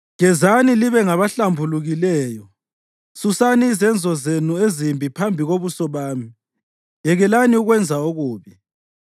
Gezani libe ngabahlambulukileyo. Susani izenzo zenu ezimbi phambi kobuso bami; yekelani ukwenza okubi.